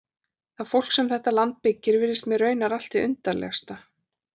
Það fólk sem þetta land byggir virðist mér raunar allt hið undarlegasta.